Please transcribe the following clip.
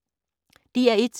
DR1